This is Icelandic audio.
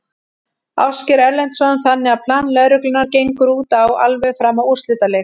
Ásgeir Erlendsson: Þannig að plan lögreglunnar gengur út á alveg fram að úrslitaleik?